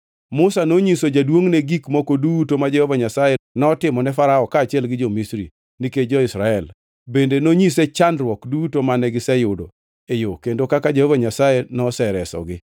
Musa nonyiso jaduongʼne gik moko duto ma Jehova Nyasaye notimone Farao kaachiel gi jo-Misri, nikech jo-Israel. Bende nonyise chandruok duto mane giseyudo e yo kendo kaka Jehova Nyasaye noseresogi.